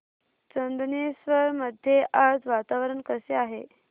चंदनेश्वर मध्ये आज वातावरण कसे आहे